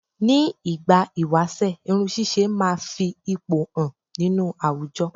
Ni ìgbà ìwáṣẹ̀ irun ṣíṣe máa fi ipò hàn nínú àwùjọ